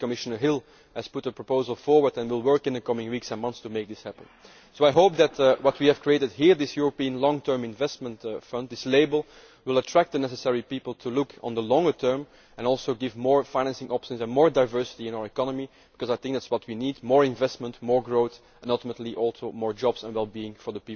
I think Commissioner Hill has put forward a proposal and will work in the coming weeks and months to make this happen. I hope that what we have created here, this European long-term investment fund, this label, will attract the necessary people to look at the longer term and bring about more financing options and more diversity in our economy because I think that is what we need more investment, more growth and, ultimately, more jobs